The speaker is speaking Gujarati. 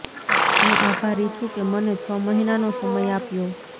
હું આભારી છું કે મને છ મહિનાનો સમય આપ્યો